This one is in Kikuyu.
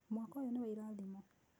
Mwaka ũyũ nĩ wa irathimo.